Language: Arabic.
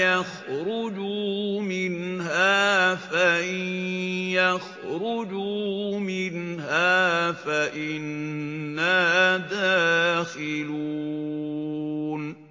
يَخْرُجُوا مِنْهَا فَإِن يَخْرُجُوا مِنْهَا فَإِنَّا دَاخِلُونَ